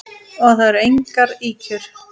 Og það eru engar ýkjur.